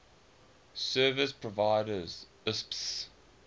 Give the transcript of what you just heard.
service providers isps